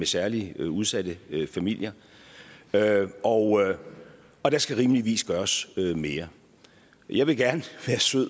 særligt udsatte familier og og der skal rimeligvis gøres mere jeg vil gerne være sød